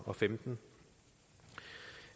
og femten